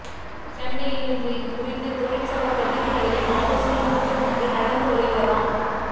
சென்னையில் இன்று இதுகுறித்து தொழிற்சங்க பிரதிநிதிகளின் ஆலோசனைக் கூட்டம் ஒன்றும் நடந்து வருகிறதாம்